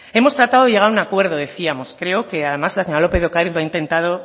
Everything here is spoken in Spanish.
hemos tratado de llegar a un acuerdo decíamos creo que además la señora lópez de ocariz lo ha intentado